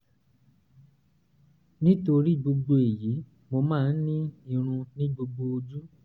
nítorí gbogbo èyí mo máa ń ní irun ní gbogbo ojú